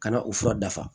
Ka na u fura dafa